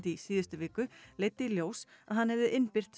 í síðustu viku leiddi í ljós að hann hefði innbyrt